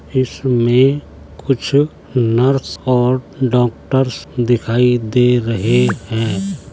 इसमें कुछ नर्स और डॉक्टर्स दिखाई दे रहे हैं।